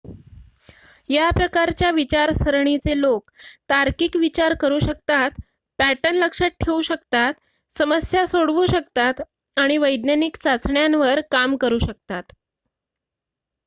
या प्रकारच्या विचारसरणीचे लोक तार्किक विचार करू शकतात पॅटर्न लक्षात ठेवू शकतात समस्या सोडवू शकतात आणि वैज्ञानिक चाचण्यांवर काम करू शकतात